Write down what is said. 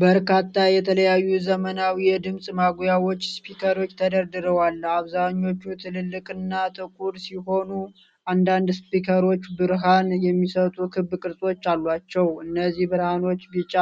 በርካታ የተለያዩ ዘመናዊ የድምጽ ማጉያዎች (ስፒከሮች) ተደርድረዋል። አብዛኞቹ ትልልቅና ጥቁር ሲሆኑ፣ አንዳንድ ስፒከሮች ብርሃን የሚሰጡ ክብ ቅርጾች አሏቸው። እነዚህ ብርሃኖች ቢጫ፣